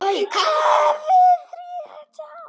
KAFLI ÞRETTÁN